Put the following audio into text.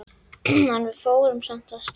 En við fórum samt af stað.